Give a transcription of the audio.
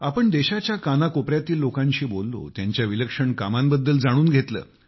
आपण देशाच्या कानाकोपऱ्यातील लोकांशी बोललो त्यांच्या विलक्षण कामांबद्दल जाणून घेतले